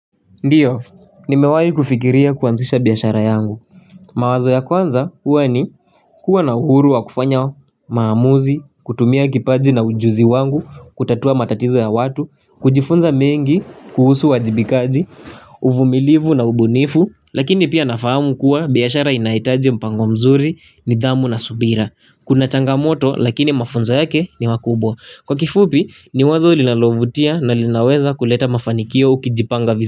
Ndiyo, nimewahi kufikiria kuanzisha biashara yangu. Mawazo ya kwanza huwa ni kuwa na uhuru wa kufanya maamuzi, kutumia kipaji na ujuzi wangu, kutatua matatizo ya watu, kujifunza mengi, kuhusu uwajibikaji, uvumilivu na ubunifu. Lakini pia nafahamu kuwa biashara inahitaji mpango mzuri nidhamu na subira. Kuna changamoto lakini mafunzo yake ni makubwa. Kwa kifupi ni wazo linalovutia na linaweza kuleta mafanikio ukijipanga vizuri.